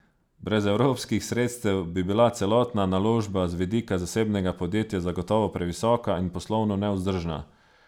Brez evropskih sredstev bi bila celotna naložba z vidika zasebnega podjetja zagotovo previsoka in poslovno nevzdržna.